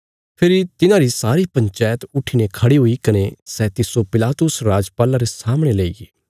फेरी तिन्हारी सारी पंचायत उट्ठीने खढ़ी हुई कने सै तिस्सो पिलातुस राजपाल्ला रे सामणे लेईगे